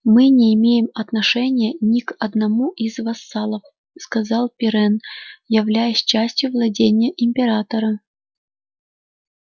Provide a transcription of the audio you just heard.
мы не имеем отношения ни к одному из вассалов сказал пиренн являясь частью владений императора